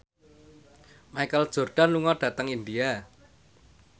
Michael Jordan lunga dhateng India